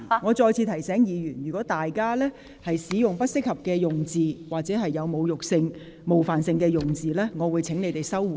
我再次提醒各位，如果有議員使用具冒犯性及侮辱性或不適宜在議會使用的言詞，我會請有關議員收回。